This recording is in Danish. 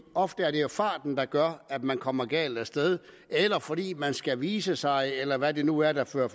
ofte er det jo farten der gør at man kommer galt af sted eller fordi man skal vise sig eller hvad det nu er der fører